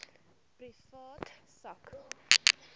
privaat sak